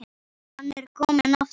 Hann er kominn aftur!